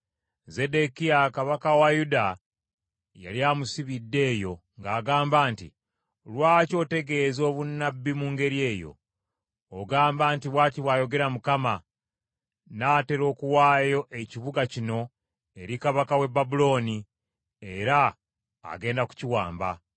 Zeddekiya kabaka wa Yuda yali amusibidde eyo ng’agamba nti, “Lwaki otegeeza obunnabbi mu ngeri eyo? Ogamba nti, ‘Bw’ati bw’ayogera Mukama . Nnaatera okuwaayo ekibuga kino eri kabaka w’e Babulooni, era agenda kukiwamba.